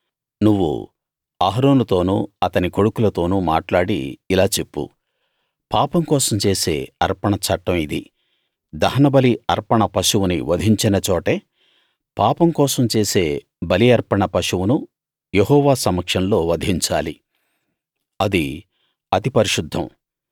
నువ్వు అహరోనుతోనూ అతని కొడుకులతోనూ మాట్లాడి ఇలా చెప్పు పాపం కోసం చేసే అర్పణ చట్టం ఇది దహనబలి అర్పణ పశువుని వధించిన చోటే పాపం కోసం చేసే బలి అర్పణ పశువునూ యెహోవా సమక్షంలో వధించాలి అది అతి పరిశుద్ధం